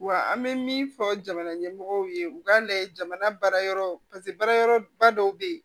Wa an bɛ min fɔ jamana ɲɛmɔgɔw ye u k'a lajɛ jamana baara yɔrɔ baara yɔrɔba dɔw bɛ ye